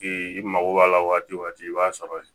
I mago b'a la waati o waati i b'a sɔrɔ